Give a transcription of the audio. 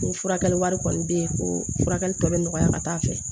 N ko furakɛli wari kɔni be ye ko furakɛli tɔ be nɔgɔya ka taa fɛ